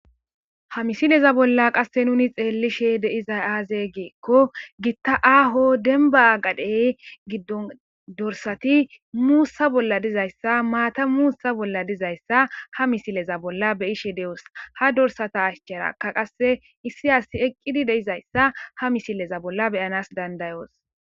Ha misileza bolla qasse nuni xeellishe deizay aaze geekko giitta aaho denba agadhey giddon dorsati muussa bolla dizayssa maata muussa bolla dizayssa ha misileza bolla beyishe de'os ha dorsata ashcheraka qasse issi asi eqqidi deizayssa ha misileza bolla beyanas dandayoos